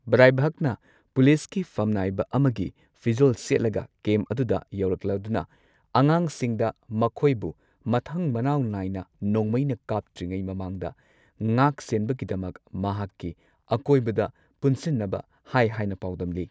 ꯕ꯭ꯔꯥꯏꯚꯛꯅ ꯄꯨꯂꯤꯁꯀꯤ ꯐꯝꯅꯥꯏꯕ ꯑꯃꯒꯤ ꯐꯤꯖꯣꯜ ꯁꯦꯠꯂꯒ ꯀꯦꯝꯞ ꯑꯗꯨꯗ ꯌꯧꯔꯛꯂꯗꯨꯅ, ꯑꯉꯥꯡꯁꯤꯡꯗ ꯃꯈꯣꯏꯕꯨ ꯃꯊꯪ ꯃꯅꯥꯎ ꯅꯥꯏꯅ ꯅꯣꯡꯃꯩꯅ ꯀꯥꯞꯇ꯭ꯔꯤꯉꯩ ꯃꯃꯥꯡꯗ ꯉꯥꯛꯁꯦꯟꯅꯕꯒꯤꯗꯃꯛ ꯃꯍꯥꯛꯀꯤ ꯑꯀꯣꯏꯕꯗ ꯄꯨꯟꯁꯤꯟꯅꯕ ꯍꯥꯏ ꯍꯥꯏꯅ ꯄꯥꯎꯗꯝꯂꯤ꯫